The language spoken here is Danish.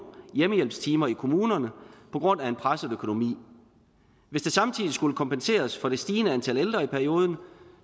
hjemmehjælpstimer i kommunerne på grund af en presset økonomi hvis der samtidig skulle kompenseres for det stigende antal ældre i perioden